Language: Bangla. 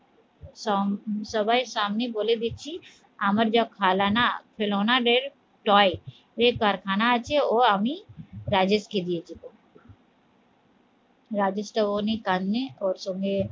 সং সবাই সামনে বলে দিচ্ছি আমার যা খিলনা toy যে কারখানা আছে ও আমি রাজীবকে দিয়ে দিবো রাজেশ শ্রাবনী ওর সঙ্গে